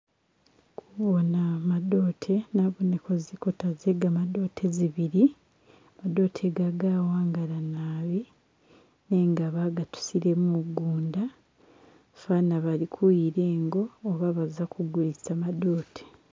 Kubona madote naboneko zinkota ze gamadote zibili, madote ga gawangala nabi nenga bagatusile mugunda, fwaana bali kuyila ingo oba baza kugulisa madote.